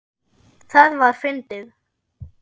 Það var fyndið.